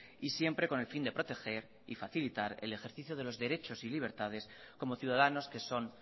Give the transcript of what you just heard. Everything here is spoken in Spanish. y siempre con el fin de proteger y facilitar el ejercicio de los derechos y libertades como ciudadanos que son